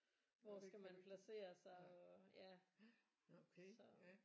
Hvor skal man placere sig og ja så